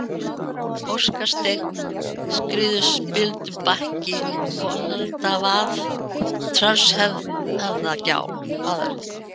Óskasteinn, Skriðuspildubakki, Folaldavað, Tröllshöfðagjá